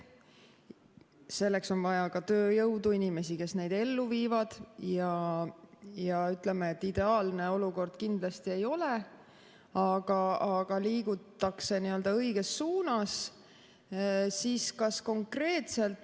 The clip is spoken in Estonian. Selleks on vaja ka tööjõudu, inimesi, kes neid ellu viivad, ja ütleme, et ideaalne see olukord kindlasti ei ole, aga liigutakse õiges suunas.